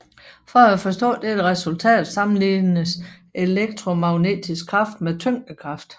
For at forstå dette resultat sammenlignes elektromagnetisk kraft med tyngdekraft